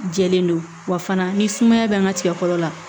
Jɛlen don wa fana ni sumaya bɛ n ka tigɛ fɔlɔ la